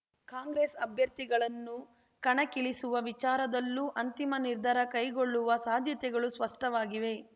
ಕಾಂಗ್ರೆಸ್ ಅಭ್ಯರ್ಥಿಗಳನ್ನು ಕಣಕ್ಕಿಳಿಸುವ ವಿಚಾರದಲ್ಲೂ ಅಂತಿಮ ನಿರ್ಧಾರ ಕೈಗೊಳ್ಳುವ ಸಾಧ್ಯತೆಗಳು ಸ್ಪಷ್ಟವಾಗಿವೆ